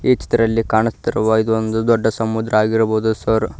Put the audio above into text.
ಈ ಚಿತ್ರದಲ್ಲಿ ಕಾಣುತ್ತಿರುವ ಇದು ಒಂದು ದೊಡ್ಡ ಸಮುದ್ರ ಆಗಿರಬಹುದು ಸರ್.